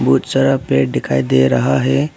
बहुत सारा पेड़ दिखाई दे रहा है।